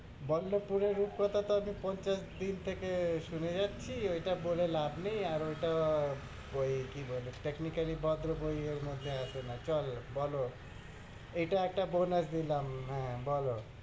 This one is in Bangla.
বল্লপুরের রূপকথাটা আমি পঞ্চাশ দিন থেকে শুনে যাচ্ছি, ওইটা বলে লাভ নেই। আর ওইটা বই, কি বলে, technically ভদ্র বই এর মধ্যে আসেনা। চল, বলো, এইটা একটা bonus দিলাম, হ্যাঁ বলো,